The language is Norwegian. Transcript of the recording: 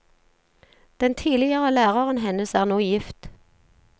Den tidligere læreren hennes er nå gift.